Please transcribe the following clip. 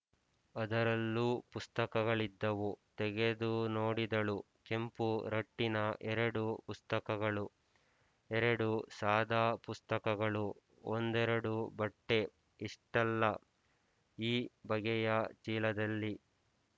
ಅದರಲ್ಲೂ ಪುಸ್ತಕಗಳಿದ್ದವು ತೆಗೆದುನೋಡಿದಳು ಕೆಂಪು ರಟ್ಟಿನ ಎರಡು ಪುಸ್ತಕಗಳು ಎರಡು ಸಾದಾ ಪುಸ್ತಕಗಳು ಒಂದೆರಡು ಬಟ್ಟೆ ಇಷ್ಟಲ್ಲ ಈ ಬಗಲು ಚೀಲದಲ್ಲಿ